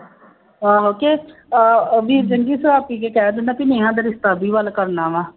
ਆਹੋ ਕਿ ਅਹ ਅਭੀ ਸ਼ਰਾਬ ਪੀ ਕੇ ਕਹਿ ਦਿੰਦਾ ਬਈ ਨੇਹਾ ਦਾ ਰਿਸ਼ਤਾ ਵੱਲ ਕਰਨਾ ਵਾ,